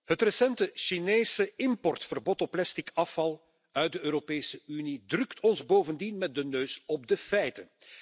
Het recente Chinese importverbod op plastic afval uit de Europese Unie drukt ons bovendien met de neus op de feiten.